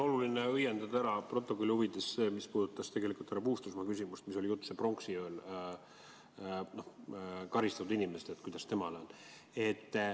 Oluline on õiendada protokolli huvides ära see, mis puudutab härra Puustusmaa küsimust, mis oli esitatud ühe pronksiööl karistatud inimese kohta.